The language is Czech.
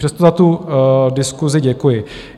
Přesto za tu diskusi děkuji.